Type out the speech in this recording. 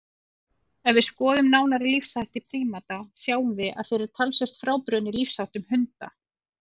Ef við skoðum nánar lífshætti prímata sjáum við að þeir eru talsvert frábrugðnir lífsháttum hunda.